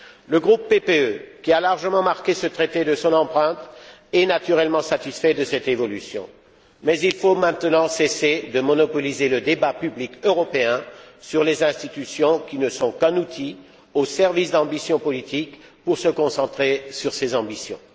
Le groupe PPE, qui a largement marqué ce Traité de son empreinte, est naturellement satisfait de cette évolution, mais il faut maintenant cesser de monopoliser le débat public européen sur les institutions, qui ne sont qu'un outil au service d'ambitions politiques, pour se concentrer sur ces ambitions.